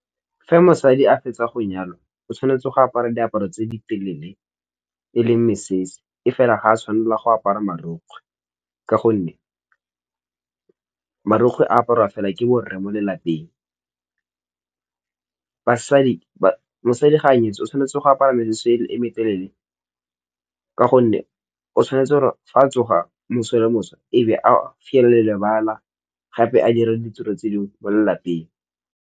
Fa mosadi a fetsa go nyalo o tshwanetse go apara diaparo tse di telele e leng mesese, e fela ga a tshwanela go apara marukgwe ka gonne marukgwe a aparwa fela ke bo rre fela mo lelapeng, masadi ga a nyetswe o tshwanetse go apara mesese e metelele, ka gonne o tshwanetse gore fa a tsoga moso le moso ebe a fiela le lebala gape a dira le ditiro tse dingwe mo lelapeng.